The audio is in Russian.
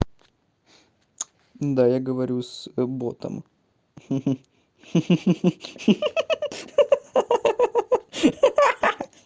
да я говорю с ботом ха-ха